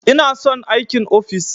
Ina son aikin ofis.